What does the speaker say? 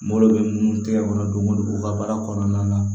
Malo bɛ mun tɛgɛ kɔnɔ don o don u ka baara kɔnɔna na